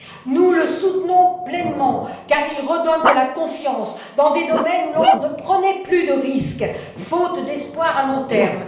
Nous le soutenons pleinement car il redonne confiance dans des domaines où l'on ne prenait plus de risques, faute d'espoirs à long terme.